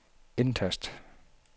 indtast